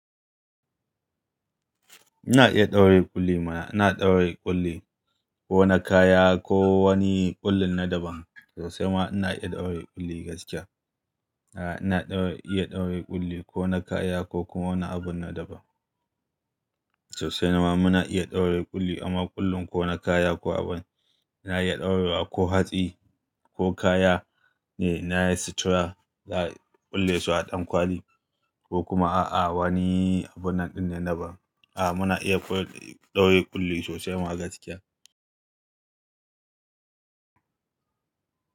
Ina iya ɗaure ƙulli mana. Ina ɗaure ƙulli ko na kaya ko wani ƙullin na daban. Sosai ma ina iya ɗaure ƙulli gaskiya. Aa, ina iya ɗaure ƙulli ko na kaya ko kuma wani abu na daban. Sosai nama muna ina iya ɗaure ƙulli amma ƙullin ko na kaya ko abin na iya ɗaurewa ko hatsi ko kaya ne na yin sutura za a ƙulle su a ɗankwali ko kuma a'a wani abun naɗi na daban. Aa, muna iya ƙu- ɗaure ƙulli sosai ma gaskiya.